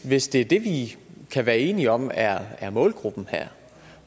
hvis det er det vi kan være enige om er er målgruppen